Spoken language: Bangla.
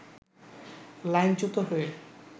লাইনচ্যুত হয়ে